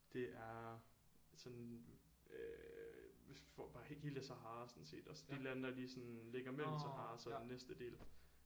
Det er sådan øh hvis bare hele Sahara sådan set også de lande der sådan ligger mellem Sahara og så den næste del